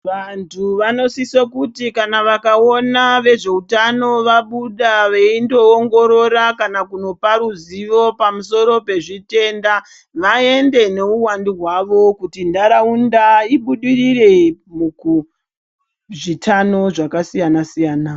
Vantu vanosiso kuti kana vakaona vezveutano vabuda veindoongorora kana kunopa ruzivo pamusoro pezvitenda vaende neuwandu hwavo kuti nharaunda ibudirire mukuzvitano zvakasiyana-siyana.